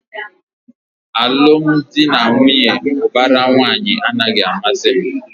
Alụmdi na nwunye ubara nwanyi a naghị amasị m